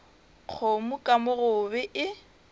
kgomo ka mo gobe e